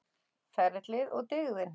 Ferlið og dygðin.